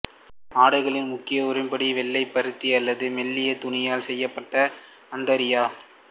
ஆடைகளின் முக்கிய உருப்படி வெள்ளை பருத்தி அல்லது மெல்லிய துணியால் செய்யப்பட்ட அந்தரியா